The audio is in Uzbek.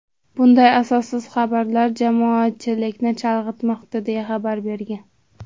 Bunday asossiz xabarlar jamoatchilikni chalg‘itmoqda”, deya xabar bergan.